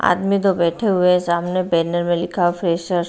आदमी दो बैठे हुए हैं सामने बैनर में लिखा है फ्रेशर ।